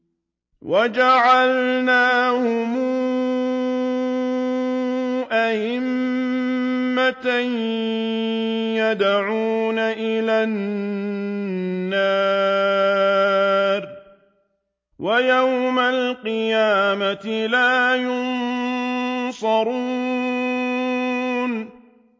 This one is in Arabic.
وَجَعَلْنَاهُمْ أَئِمَّةً يَدْعُونَ إِلَى النَّارِ ۖ وَيَوْمَ الْقِيَامَةِ لَا يُنصَرُونَ